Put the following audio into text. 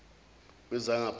wezangaphandle